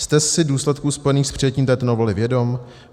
Jste si důsledků spojených s přijetím této novely vědom?